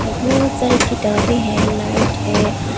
बहोत सारे किताबें हैं लाइट है।